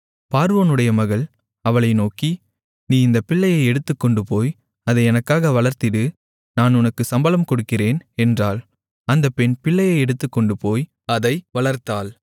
பார்வோனுடைய மகள் அவளை நோக்கி நீ இந்தப் பிள்ளையை எடுத்துக்கொண்டுபோய் அதை எனக்காக வளர்த்திடு நான் உனக்குச் சம்பளம் கொடுக்கிறேன் என்றாள் அந்தப் பெண் பிள்ளையை எடுத்துக்கொண்டுபோய் அதை வளர்த்தாள்